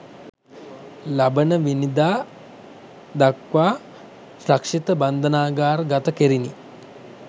ලබනවැනිදා දක්‌වා රක්‍ෂිත බන්ධනාගාර ගත කෙරිණි